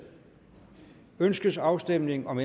ønskes afstemning om